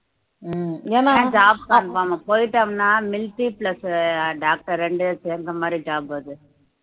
ஆஹ் ஏன்னா job conform போயிட்டோம்ன்னா military plus doctor இரண்டும் சேர்ந்த மாதிரி job அது